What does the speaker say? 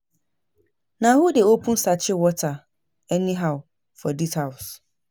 Na who dey open sachet water anyhow for dis house?